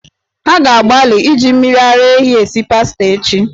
Ha ga-agbalị iji mmiri ara ehi esi pasta echi.